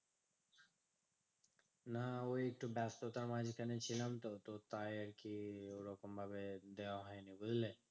না ওই একটু ব্যাস্ততার মাঝখানে ছিলাম তো তাই আরকি ওরকমভাবে দেওয়া হয় নি বুঝলে?